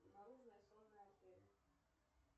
наружная сонная артерия